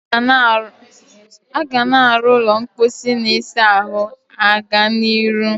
Aga na aro ulo mposi na isa ahu aga n'iru.